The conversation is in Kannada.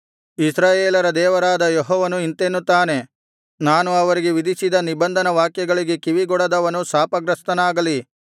ಇಸ್ರಾಯೇಲರ ದೇವರಾದ ಯೆಹೋವನು ಇಂತೆನ್ನುತ್ತಾನೆ ನಾನು ಅವರಿಗೆ ವಿಧಿಸಿದ ನಿಬಂಧನ ವಾಕ್ಯಗಳಿಗೆ ಕಿವಿಗೊಡದವನು ಶಾಪಗ್ರಸ್ತನಾಗಲಿ